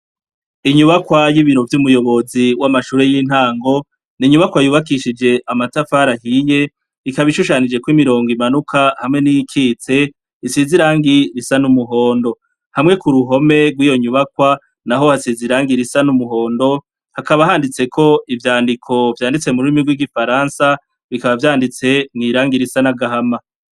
Inyubakwa y'ibiro vy'umuyobozi w'amashure y'intango ni inyubakwa yubakishijwe amatafari ahiye, ikaba ishushanijweko imirongo imanuka, hamwe n'iyikitse, isize irangi risa n'umuhondo. Hamwe ku ruhome rw'iyo nyubakwa, naho hasize irangi risa n'umuhondo, hakaba handitseko ivyandiko vyanditse mu rurimi rw'igifarasa, bikaba vyanditse mw'irangi risa n'agahama.